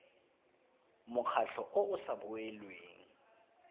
mokgatlho o o sa boelweng